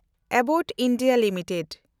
Abbott India limited